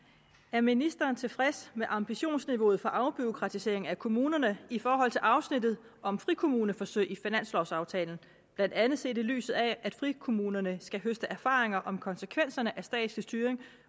er ministeren tilfreds med ambitionsniveauet for afbureaukratisering af kommunerne i forhold til afsnittet om frikommuneforsøg i finanslovaftalen blandt andet set i lyset af at frikommunerne skal høste erfaringer om konsekvenserne af statslig styring